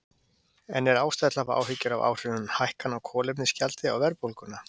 En er ástæða til að hafa áhyggjur af áhrifum hækkana á kolefnisgjaldi á verðbólguna?